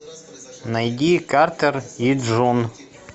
найди картер и джун